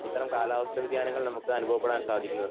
ഇത്തരം കാലാവസ്ഥ വ്യധ്യാനങ്ങൾ നമക്ക് അനുഭവപ്പെടാൻ സാധിക്കുന്നത്